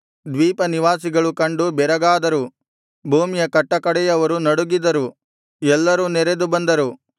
ದ್ವೀಪ ನಿವಾಸಿಗಳು ಕಂಡು ಬೆರಗಾದರು ಭೂಮಿಯ ಕಟ್ಟ ಕಡೆಯವರು ನಡುಗಿದರು ಎಲ್ಲರೂ ನೆರೆದು ಬಂದರು